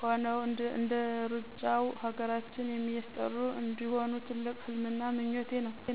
ሆነው እንደሩጫው ሀገራችን የሚስጠሩ እንዲሆኑ ትልቅ ህልሜና ምኞቴ ነው።